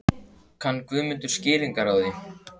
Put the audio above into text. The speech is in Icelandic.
Kann Guðmundur skýringar á því?